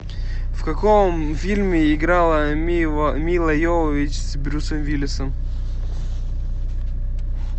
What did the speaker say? в каком фильме играла мила йовович с брюсом уиллисом